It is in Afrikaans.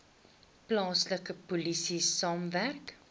plaaslike polisie saamwerk